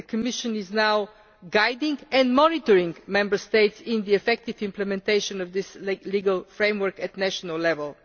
The Commission is now guiding and monitoring Member States in the effective implementation of this legal framework at national level.